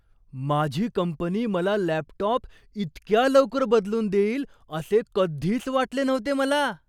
माझी कंपनी मला लॅपटॉप इतक्या लवकर बदलून देईल असे कधीच वाटले नव्हते मला!